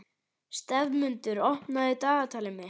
slefmundur, opnaðu dagatalið mitt.